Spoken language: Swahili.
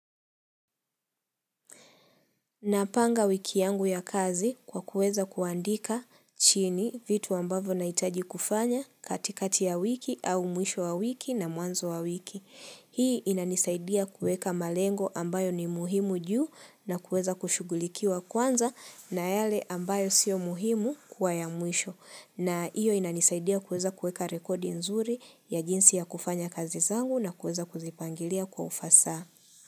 Napanga wiki yangu ya kazi kwa kuweza kuandika chini vitu ambavo naitaji kufanya katikati ya wiki au mwisho wa wiki na mwanzo wa wiki. Hii inanisaidia kuweka malengo ambayo ni muhimu juu na kuweza kushughulikiwa kwanza na yale ambayo sio muhimu kuwa ya mwisho. Na iyo inanisaidia kuweza kuweka rekodi nzuri ya jinsi ya kufanya kazi zangu na kuweza kuzipangilia kwa ufasaha.